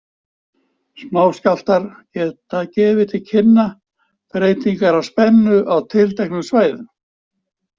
Smáskjálftar geta gefið til kynna breytingar á spennu á tilteknum svæðum.